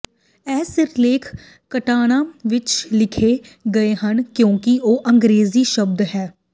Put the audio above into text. ਇਹ ਸਿਰਲੇਖ ਕਟਾਕਨਾ ਵਿੱਚ ਲਿਖੇ ਗਏ ਹਨ ਕਿਉਂਕਿ ਉਹ ਅੰਗਰੇਜ਼ੀ ਸ਼ਬਦ ਹਨ